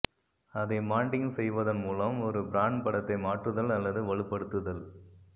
அதை மான்டிங் செய்வதன் மூலம் ஒரு பிராண்ட் படத்தை மாற்றுதல் அல்லது வலுப்படுத்துதல்